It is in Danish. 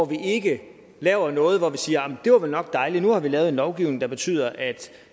vi ikke laver noget og siger det var vel nok dejligt nu har vi lavet en lovgivning der betyder at